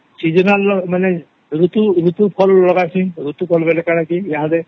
seasonal ର ମାନେ ଋତୁ ଋତୁ ର କାଇଁ ପହଲା ଫଳ କରସେ